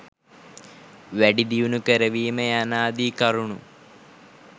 වැඩිදියුණු කරවීම යනාදී කරුණු